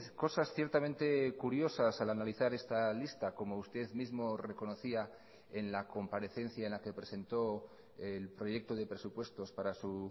cosas ciertamente curiosas al analizar esta lista como usted mismo reconocía en la comparecencia en la que presentó el proyecto de presupuestos para su